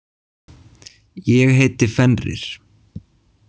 Ég heiti Fenrir.